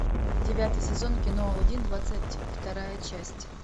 девятый сезон кино алладин двадцать вторая часть